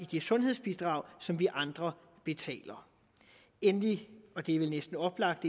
det sundhedsbidrag som vi andre betaler endelig og det er vel næsten oplagt